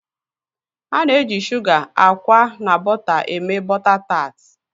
Ana eji Suga, akwa na bóta eme bôta tart.